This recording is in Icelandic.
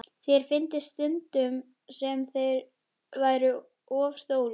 Sér fyndist stundum sem þeir væru of stórir.